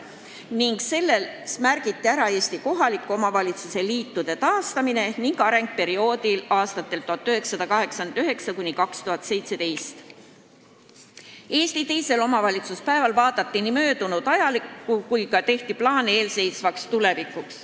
Siis keskenduti Eesti kohaliku omavalitsuse liitude taastamisele ja arengule perioodil 1989–2017, aga vaadati ka ajalukku ning tehti plaane tulevikuks.